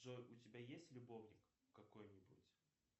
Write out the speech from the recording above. джой у тебя есть любовник какой нибудь